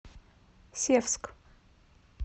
севск